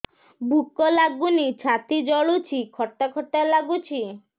ଭୁକ ଲାଗୁନି ଛାତି ଜଳୁଛି ଖଟା ଖଟା ଲାଗୁଛି